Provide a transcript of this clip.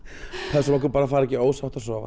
pössum okkur bara að fara ekki ósátt að sofa